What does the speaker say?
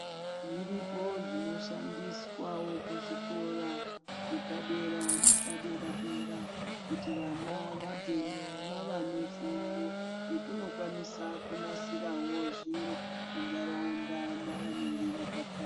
Zviripo zvino shandiswawo kuzvikora zvepadera nepadera dera kuti vana vabveyo vava nefundo yekunokwanisa kunasirawo zviro muntaraunda mavanenge vakabva.